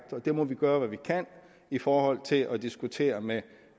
der må vi gøre hvad vi kan i forhold til at diskutere med